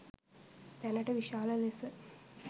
දැනට විශාල ලෙස